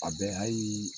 A bɛ hali